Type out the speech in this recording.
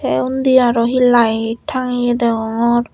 tey undi aro hi light tangeye degongor.